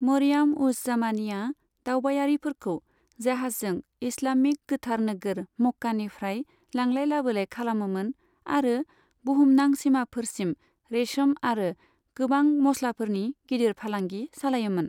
मरियाम उज जामानीया दावबायारिफोरखौ जाहाजजों इस्लामिक गोथार नोगोर मक्कानिफ्राय लांलाय लाबोलाय खालामोमोन आरो बुहुमनां सीमाफोरसिम रेशम आरो गोबां मस्लाफोरनि गिदिर फालांगि सालायोमोन।